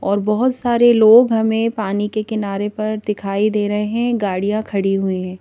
और बहुत सारे लोग हमें पानी के किनारे पर दिखाई दे रहे हैं गाड़ियां खड़ी हुई हैं।